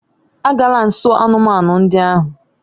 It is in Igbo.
Agala nso anụmanụ ndị ahụ!